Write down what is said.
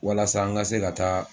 Walasa an ka se ka taa